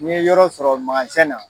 N' ye yɔrɔ sɔrɔ na.